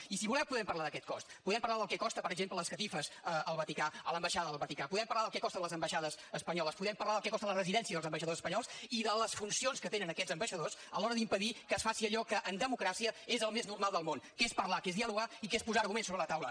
i si voleu podem parlar d’aquest cost podem parlar del que costen per exemple les catifes al vaticà a l’ambaixada del vaticà podem parlar del que costen les ambaixades espanyoles podem parlar del que costen les residències dels ambaixadors espanyols i de les funcions que tenen aquests ambaixadors a l’hora d’impedir que es faci allò que en democràcia és el més normal del món que és parlar que és dialogar i que és posar arguments sobre la taula